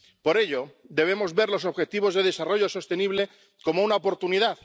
Por ello, debemos ver los objetivos de desarrollo sostenible como una oportunidad.